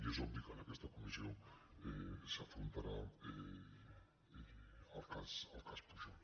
i és obvi que en aquesta comissió s’afrontarà el cas pujol